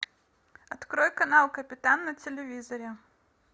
открой канал капитан на телевизоре